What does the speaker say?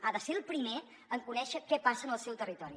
ha de ser el primer en conèixer què passa en el seu territori